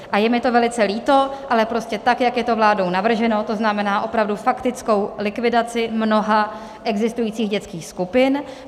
A je mi to velice líto, ale prostě tak, jak je to vládou navrženo, to znamená opravdu faktickou likvidaci mnoha existujících dětských skupin.